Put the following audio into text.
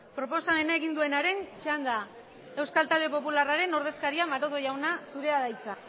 proposamena egin duenaren txanda euskal talde popularraren ordezkaria maroto jauna zurea da hitza